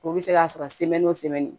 O bɛ se k'a sɔrɔ o